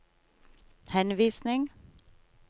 henvisning